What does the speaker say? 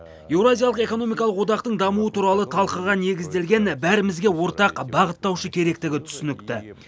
еуразиялық экономикалық одақтың дамуы туралы талқыға негізделген бәрімізге ортақ бағыттаушы керектігі түсінікті